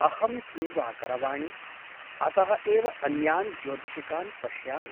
अहं किं वा करवाणि ? अतः एव अन्यान् ज्योतिषिकान् पश्यामि ।